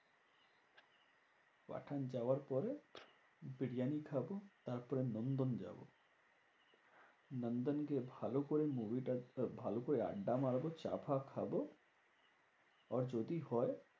পাঠান যাওয়ার পরে, বিরিয়ানি খাবো তারপরে নন্দন যাবো। নন্দন গিয়ে ভালো করে movie টা ভালো করে আড্ডা মারবো চা ফা খাবো। আর যদি হয়